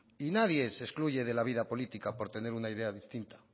y nadie se excluye de la vida política por tener una idea distinta